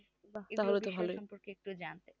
বিষয়ের সম্পর্কে একটু জানতে